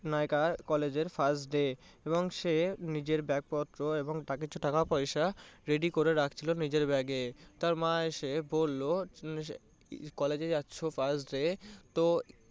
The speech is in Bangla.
নায়িকার college এর first day এবং সে নিজের ব্যাগপত্র এবং তার কিছু টাকা পয়সা ready করে রাখছিলো নিজের bag এ। তার মা এসে বললো college এ যাচ্ছ first day তো